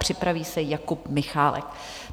Připraví se Jakub Michálek.